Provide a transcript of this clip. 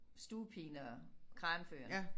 Stugepigen og Kranføreren